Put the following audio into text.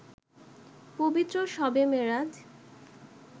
পবিত্র শবে মেরাজ